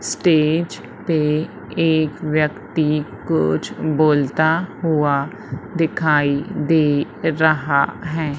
Stage पे एक व्यक्ति कुछ बोलता हुआ दिखाई दे रहा है।